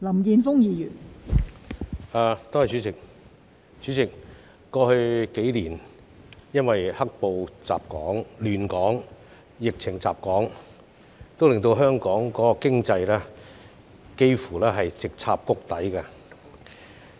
代理主席，過去數年，"黑暴"亂港及疫情襲港令本港經濟幾乎直插谷底。